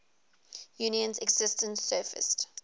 union's existence surfaced